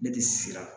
Ne tɛ siran